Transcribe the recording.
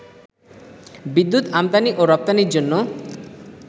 বিদ্যুৎ আমদানি ও রপ্তানির জন্য